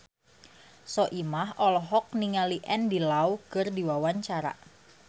Soimah olohok ningali Andy Lau keur diwawancara